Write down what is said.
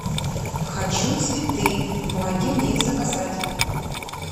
хочу цветы помоги мне их заказать